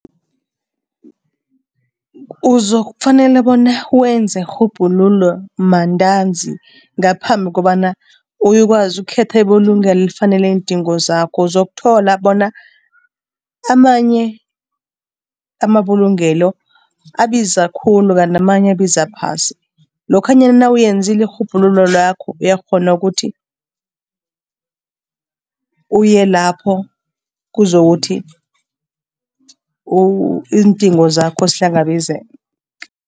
Uzokufanele bona wenze irhubhululo mantanzi ngaphambi kobana uyokwazi ukukhetha ibulungelo elifanele iindingo zakho. Uzokuthola bona amanye amabulungelo abiza khulu kanti amanye abiza phasi. Lokhanyana nawuyenzile irhubhululo lakho uyakghona ukuthi uye lapho, kuzokuthi iindingo zakho zihlangabezeke.